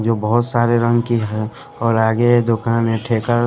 जो बहुत सारे रंग की है और आगे दुकान है ठेका--